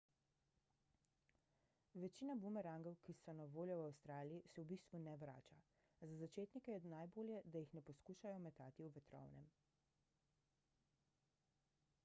večina bumerangov ki so na voljo v avstraliji se v bistvu ne vrača za začetnike je najbolje da jih ne poskušajo metati v vetrovnem